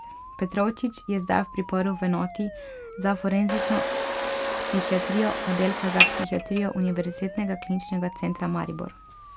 Petrovčič je zdaj v priporu v enoti za forenzično psihiatrijo oddelka za psihiatrijo Univerzitetnega kliničnega centra Maribor.